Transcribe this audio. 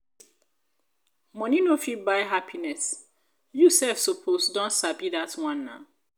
money no fit buy happiness you sef suppose don sabi dat one.[um]